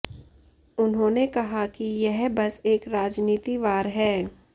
उन्होनें कहा कि यह बस एक राजनीति वार है